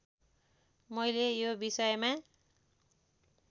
मैले यो विषयमा